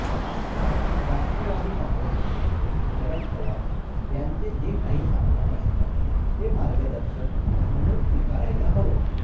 राष्ट्रवादी काँग्रेसचे नेते शरद पवार यांचे जे काही सांगणं असतं ते मार्गदर्शक म्हणून स्वीकारायला हवं